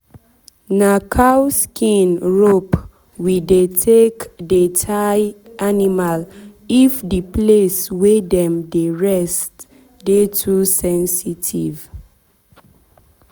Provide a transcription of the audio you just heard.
na cow skin rope we dey take tie dem animalif the place wey dem dey rest dey too sensitive.